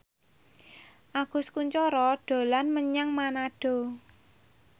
Agus Kuncoro dolan menyang Manado